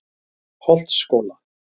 Holtsskóla